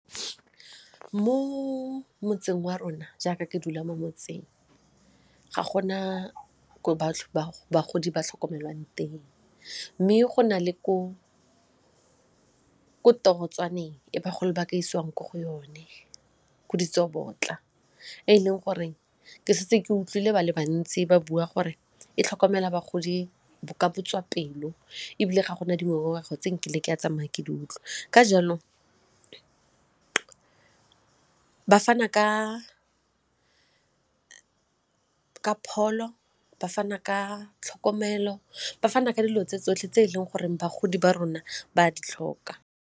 Mo motseng wa rona jaaka ke dula mo motseng, ga gona ko bagodi ba tlhokomelwang teng mme go nale ko ko tirong jwaneng e bagolo ba ka isiwang ko go yone go ditsobotla e e leng goreng ke setse ke utlwile ba le bantsi ba bua gore e tlhokomela bagodi ba ka botswapelo ebile ga gona dingongorego kgotsa nkile ka tsamaya ke di utlwa, ka jalo ba fana ka pholo, ba fana ka tlhokomelo, ba fana ka dilo tse tsotlhe tse e leng gore bagodi ba rona ba di tlhoka.